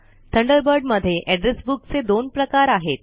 Thunderbird मध्ये address book चे दोन प्रकार आहेत